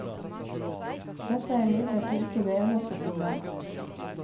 Dette er imidlertid ikke det eneste problemet.